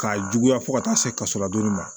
K'a juguya fo ka taa se kaso lajoli ma